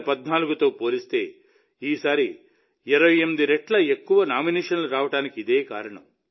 2014తో పోలిస్తే ఈసారి 28 రెట్లు ఎక్కువ నామినేషన్లు రావడానికి ఇదే కారణం